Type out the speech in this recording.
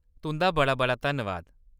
तुंʼदा बड़ा-बड़ा धन्नबाद !